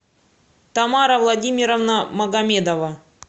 тамара владимировна магомедова